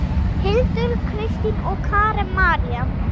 Hildur, Kristín og Karen María.